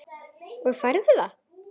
Og færðu það?